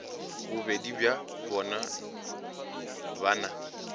bobedi bja bona ba na